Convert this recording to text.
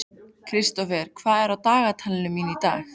Kristófer, hvað er í dagatalinu mínu í dag?